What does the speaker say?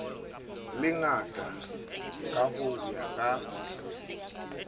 lengata ka ho ya ka